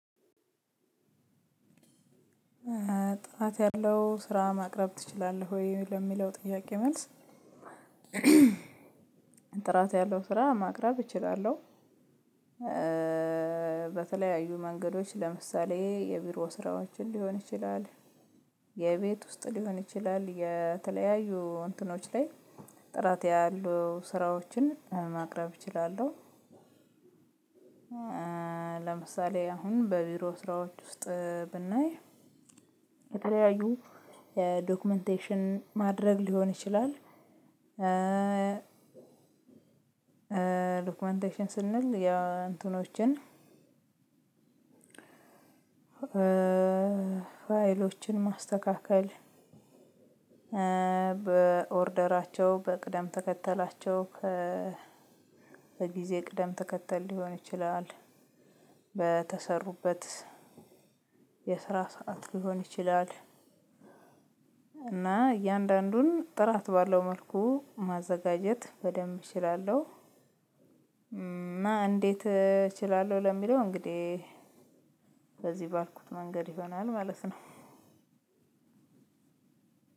ጥራት ያለው ስራ ማቅረብ ትችላለህ ወይ? ለሚለው ጥያቄ መልስ ጥራት ያለው ስራ ማቅረብ እችላለሁ። በተለያዩ መንገዶች ለምሳሌ የቢሮ ስራዎችን ሊሆን ይችላል፤ የቤት ውስጥ ሊሆን ይችላል፤ የተለያዩ እንትኖች ላይ ጥራት ያሉ ስራዎችን ማቅረብ እችላለሁ። ለምሳሌ አሁን በቢሮ ስራዎች ውስጥ ብናይ የተለያዩ የዶክመንቴሽን ማድረግ ሊሆን ይችላል። ዶክመንቴሽን ስንል የእንትኖችን ፋይሎችን ማስተካከል፤ በኦርደራቸው፤ በቅደም ተከተላቸው፤ በጊዜ ቅደም ተከተል ሊሆን ይችላል። በተሰሩበት የስራ ሰዓት ሊሆን ይችላል። እና እያንዳንዱን ጥራት ባለው መልኩ ማዘጋጀት በደንብ እችላለሁ። እና እንዴት እችላለሁ? ለሚለው እንግዲህ በዚህ ባልኩት መንገድ ይሆናል ማለት ነው።